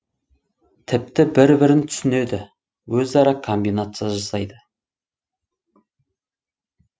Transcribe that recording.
тіпті бір бірін түсінеді өзара комбинация жасайды